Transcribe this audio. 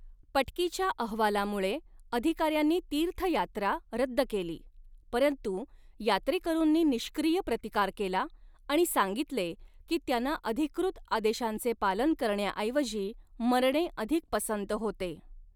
पटकीच्या अहवालामुळे अधिकार्यांनी तीर्थयात्रा रद्द केली, परंतु यात्रेकरूंनी 'निष्क्रिय प्रतिकार' केला आणि सांगितले की त्यांना अधिकृत आदेशांचे पालन करण्याऐवजी मरणे अधिक पसंत होते.